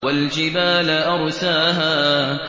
وَالْجِبَالَ أَرْسَاهَا